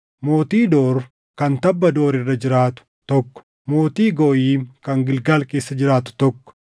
mootii Door kan tabba Door irra jiraatu, tokko mootii Gooyim kan Gilgaal keessaa jiraatu, tokko